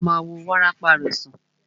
A ma wo wárápá rẹ̀ sàn.